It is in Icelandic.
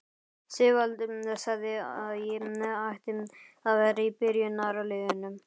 Sigvaldi sagði að ég ætti að vera í byrjunarliðinu!